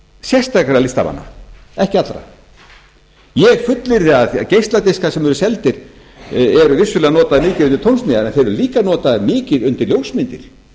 sérstakra listamanna ekki allra ég fullyrði að geisladiskar sem eru seldir eru vissulega notaðir líka undir tónsmíðar en þeir eru líka notaðir mikið undir ljósmyndir